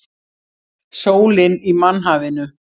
Sólin í mannhafinu.